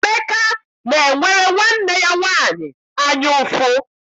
Emeka na-enwere nwanne ya nwaanyị anya ụfụ.